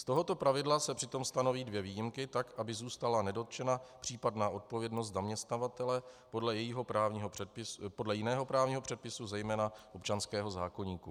Z tohoto pravidla se přitom stanoví dvě výjimky tak, aby zůstala nedotčena případná odpovědnost zaměstnavatele podle jiného právního předpisu, zejména občanského zákoníku.